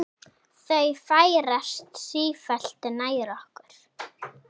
Þau færast sífellt nær okkur.